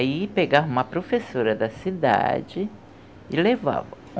Aí pegavam uma professora da cidade e levavam.